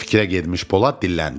Fikrə getmiş Polad dilləndi.